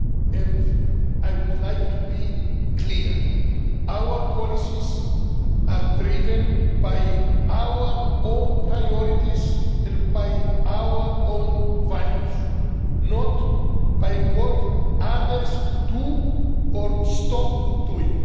And I would like to be clear our policies are driven by our own priorities and by our own values, not by what others do or stop doing.